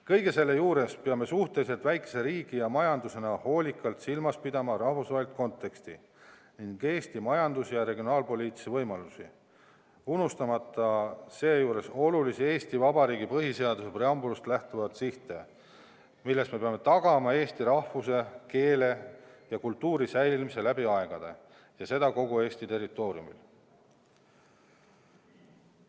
Kõige selle juures peame suhteliselt väikese riigi ja majandusena hoolikalt silmas pidama rahvusvahelist konteksti ning Eesti majandus- ja regionaalpoliitilisi võimalusi, unustamata seejuures olulisi Eesti Vabariigi põhiseaduse preambulast lähtuvaid sihte: me peame tagama eesti rahvuse, keele ja kultuuri säilimise läbi aegade, ja seda kogu Eesti territooriumil.